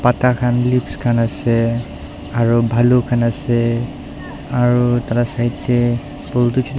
pata khan leaves khan ase aro bhalu khan ase aro tai la side tae bul--